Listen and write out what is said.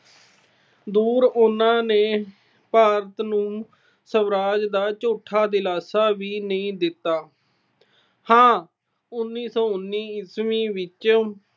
ਦੂਰ ਉਹਨਾਂ ਨੇ ਭਾਰਤ ਨੂੰ ਸਵਰਾਜ ਦਾ ਝੂਠਾ ਦਿਲਾਸਾ ਵੀ ਨਹੀਂ ਦਿੱਤਾ। ਹਾਂ, ਉਨੀ ਸੌ ਉਨੀ ਈਸਵੀ ਵਿੱਚ